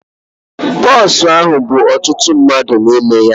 Bọs ahụ bú ọtụtụ mmadụ n'ime ya.